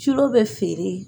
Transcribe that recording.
Cilo be feere